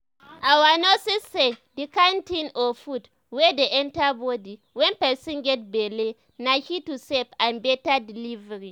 our nurse say the kind thing or food wey dey enter body wen person get belle na key to safe and better delivery